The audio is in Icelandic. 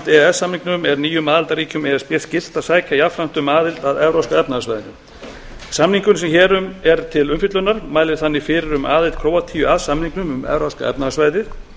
s samningnum er nýjum aðildarríkjum e s b skylt að sækja jafnframt um aðild að evrópska efnahagssvæðinu samningurinn sem hér er til umfjöllunar mælir þannig fyrir um aðild króatíu að samningnum um evrópska efnahagssvæðið